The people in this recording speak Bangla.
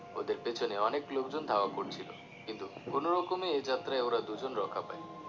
ওদের পেছনে অনেক লোকজন ধাওয়া করছিলো কিন্তু কোন রকমে এ যাত্রায় ওরা দুজন রক্ষা পায়